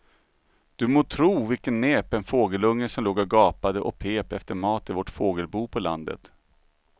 Du må tro vilken näpen fågelunge som låg och gapade och pep efter mat i vårt fågelbo på landet.